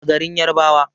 a garin yarabawa